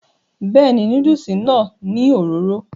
bẹ́ẹ̀ni, núdùsì náà ní òróró